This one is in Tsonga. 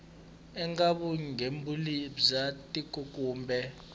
eka vugembuli bya tiko kumbe